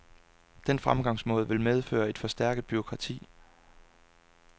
Den fremgangsmåde vil medføre et forstærket bureaukrati.